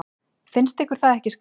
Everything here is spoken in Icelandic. Finnst ykkur það ekki skrýtið?